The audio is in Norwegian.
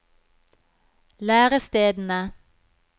lærestedene